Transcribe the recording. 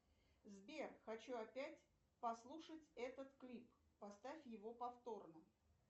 сбер хочу опять послушать этот клип поставь его повторно